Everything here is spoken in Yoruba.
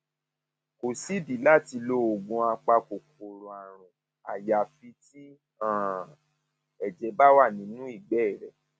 kò sídìí láti lo oògùn apakòkòrò àrùn àyàfi tí um ẹjẹ bá wà nínú ìgbẹ rẹ